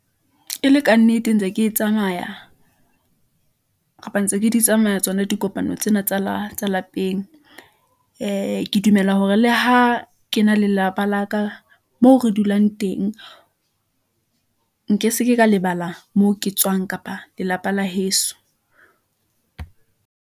E le ka nnete ntse ke tsamaya kapa ntse ke di tsamaya tsona. Dikopano tsena tsa tsa lapeng. Ke dumela hore le ha ke na lelapa la ka moo re dulang teng, nke se ke ka lebala moo ke tswang kapa lelapa la heso.